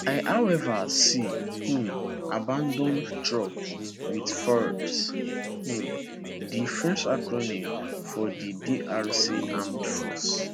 i however see um abanAcceptedd trucks with fardc um di french acronym for di drc armed forces